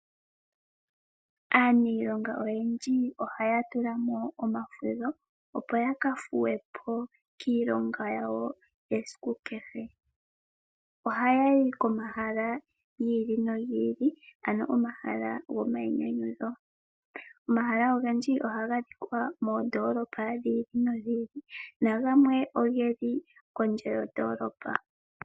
Aaniilonga oyendji ohaya tulamo omafudho opo ya ka thuwe po kiilonga yawo yesiku kehe. Oha ya yi komahala gi ili nogi ili ano omahala gomainyanyudho. Omahala ogendji oha ga adhika moondoolopa dhi ili nodhi ili, nagamwe ogeli kondje yondoolopa.